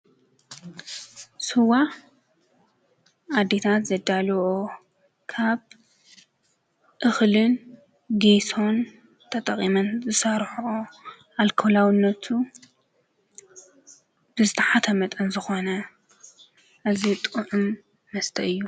ሱዋ ኣዲታት ዘዳልኦ ካብ እኽልን ጊሶን ተጠቒመን ዘሣርሕ ኣልኮላውነቱ ብተሓተ መጠን ዝኾነ እዙይ ጥዑም መስተ እዩ።